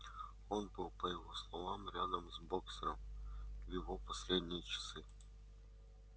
он был по его словам рядом с боксёром в его последние часы